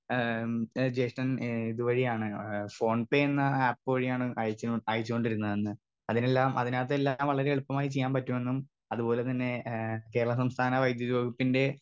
Speaker 2 ഏ ഏ ജേഷ്ടൻ ഏ ഇത് വഴിയാണ് ഏ ഫോൺപ്പേ എന്ന ആപ്പ് വഴിയാണ് അയച്ച് അയച്ചോണ്ടിരുന്നതെന്ന് അതിലെല്ലാം അതിനകത്തെല്ലാം വളരെ എളുപ്പമായി ചീയ്യാം പറ്റുമെന്നും അത് പോലെ തന്നെ ഏ കേരള സംസ്ഥാന വൈദ്യുത വകുപ്പിന്റെ.